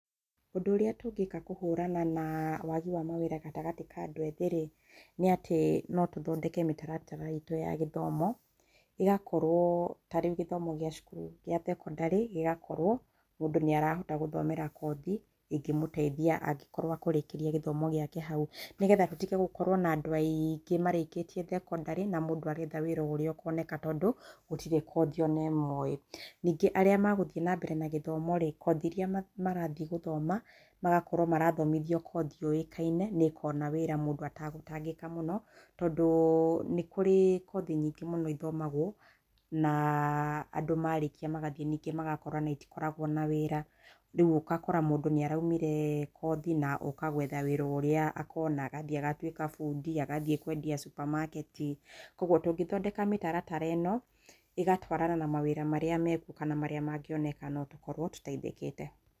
Ũndũ ũrĩa tũngĩka kũhũrana na wagi wa mawĩra gatagatĩ ka andũ ethĩ rĩ nĩ atĩ no tũthondeke mĩtaratara itũ ya gĩthomo igakorwo tarĩu githomo gĩa cukuru gĩa cekondarĩ gĩgakorwo mũndũ nĩ arahota gũthomera kothĩ ĩngĩmũteithia angĩkorwo ekorĩkĩrĩa gĩthomo gĩake hau nĩgetha tũtige gũkorwo na andũ aingĩ marĩkĩtie cekondarĩ na mũndũ aretha wĩra urĩa ũkoneka tondũ gũtirĩ kothĩ ona ĩmweo ĩ ningĩ arĩa meguthiĩ nambere na gĩthomo rĩ kothĩ ĩria marathiĩ gũthoma magakorwo marathomithĩo kothĩ yoĩkaine niĩkona wira mũndũ ategutangĩka mũno. Tondũ nĩkũrĩ kothĩ nyingĩ mũno ithomagwo na andũ marekia magathiĩ ningĩ magakora itĩkoragwo na wĩra. Ũgakora mũndũ nĩaraumire kothĩ na ũka gwetha wĩra ũrĩa akona agathiĩ agatuĩka bundĩ, agathiĩ kwendĩa supermaket. Kwoguo tungĩthondeka mĩtaratara ĩno ĩgatwarana na mawĩra marĩa mekũo kana marĩa mangĩonekana notũkorwo tũteithĩkĩte.